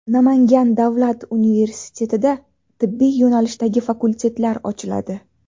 Namangan davlat universitetida tibbiy yo‘nalishdagi fakultetlar ochiladi.